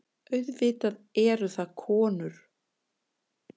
Auðvitað eru það konur.